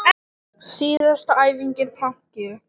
Síðasta æfingin planki.